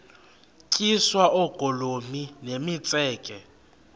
tyiswa oogolomi nemitseke